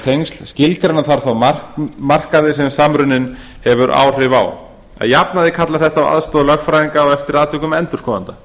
tengsl skilgreina þarf þó markaði sem samruninn hefur áhrif á að jafnaði kallar þetta á aðstoð lögfræðinga og eftir atvikum endurskoðenda